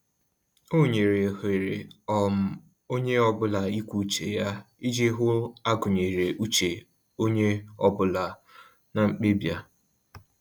O nyere ohere um onye ọbụla ikwu uche ya iji hụ a gụnyere uche onye ọ bụla na mkpebi a